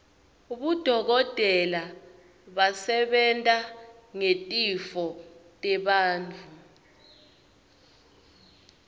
bodokotela basebenta ngetitfo tebantfu